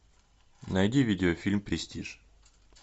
найди видеофильм престиж